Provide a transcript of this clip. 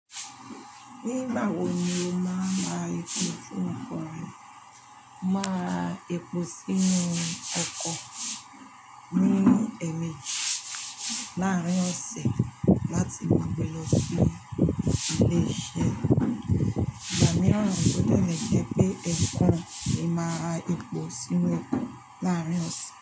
Nígbà wo ni o máa ra epò sínú ọkọ̀ rẹ? Mo maa rá epò sínú ọkọ̀ mi ní ẹ̀ẹ̀meje láàárín ọ̀sẹ̀ láti ìgbà tí mo bẹ̀rẹ̀ sí ilé iṣẹ́. Ìgbà míìràn o de le jẹ pẹ́ ẹ̀ekún ni máa ra epò sínú ọkọ̀ láàárín ọ̀sẹ̀